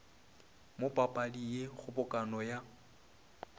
mo papading ye kgobokano ya